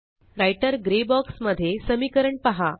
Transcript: writer grey box मध्ये समीकरण पहा